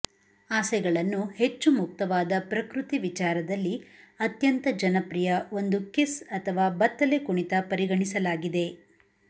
ಆಸೆಗಳನ್ನು ಹೆಚ್ಚು ಮುಕ್ತವಾದ ಪ್ರಕೃತಿ ವಿಚಾರದಲ್ಲಿ ಅತ್ಯಂತ ಜನಪ್ರಿಯ ಒಂದು ಕಿಸ್ ಅಥವಾ ಬತ್ತಲೆಕುಣಿತ ಪರಿಗಣಿಸಲಾಗಿದೆ